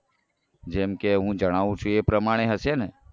જેમ કે હું જણાવું છું એ પ્રમાણે હશેને